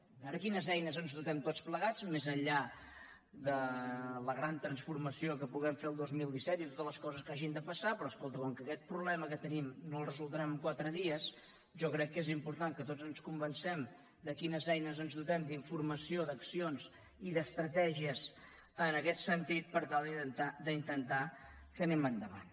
a veure de quines eines ens dotem tots plegats més enllà de la gran transformació que puguem fer el dos mil disset i de totes les coses que hagin de passar però escolta com que aquest problema que tenim no els resoldrem en quatre dies jo crec que és important que tots ens convencem de quines eines ens dotem d’informació d’accions i d’estratègies en aquest sentit per tal d’intentar que anem endavant